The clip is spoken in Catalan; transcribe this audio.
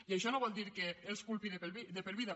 i això no vol dir que els culpi de per vida